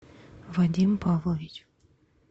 вадим павлович